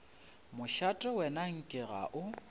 mošate wena nke ga o